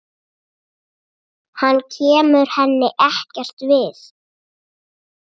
Hann kemur henni ekkert við.